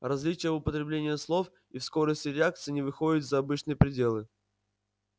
различия в употреблении слов и в скорости реакции не выходят за обычные пределы